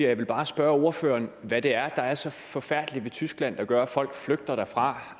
jeg vil bare spørge ordføreren hvad det er der er så forfærdeligt ved tyskland der gør at folk flygter derfra